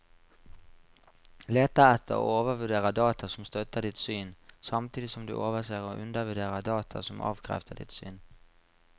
Leter etter og overvurderer data som støtter ditt syn, samtidig som du overser og undervurderer data som avkrefter ditt syn.